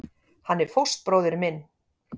Hann er fóstbróðir minn.